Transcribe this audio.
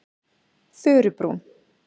Furubrún